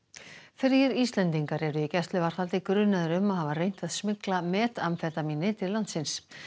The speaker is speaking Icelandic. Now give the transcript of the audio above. þrír Íslendingar eru í gæsluvarðhaldi grunaðir um að hafa reynt að smygla metamfetamíni til landsins